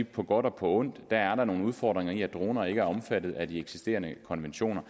på godt og ondt er nogle udfordringer i at droner ikke er omfattet af de eksisterende konventioner